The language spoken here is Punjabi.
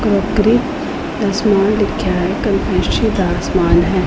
ਕ੍ਰੋਕਰੀ ਦਾ ਸਮਾਨ ਲਿੱਖਿਆ ਹੈ ਕਨਫੈਕਸ਼ਨਰੀ ਦਾ ਸਮਾਨ ਹੈ।